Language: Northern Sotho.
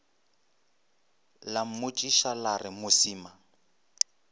la mmotšiša la re mosima